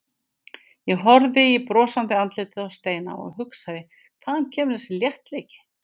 Ég horfði í brosandi andlitið á Steina og hugsaði hvaðan kemur þessi léttleiki?